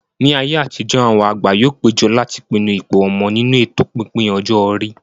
Ní ayé àtijó, àwọn àgbà yóò péjọ láti pinnu ipò ọmọ nínú ètò pípín ọjọ́ orí